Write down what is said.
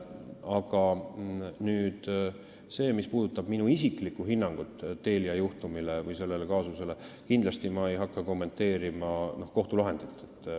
Aga mis puudutab minu isiklikku hinnangut Telia juhtumile või sellele kaasusele, siis kindlasti ei hakka ma kommenteerima kohtulahendit.